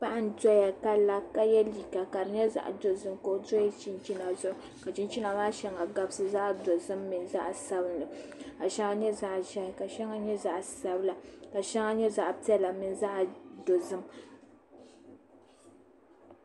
Paɣi n doya kala kayɛ liiga zaɣi dozim ka doya chinchina zuɣu ka chichina maa shɛŋa gabisi zaɣ' dozom mini zaɣi sabinli shɛŋa nyɛ zaɣ' zɛhi ka shɛŋa nyɛ zaɣ' dozim.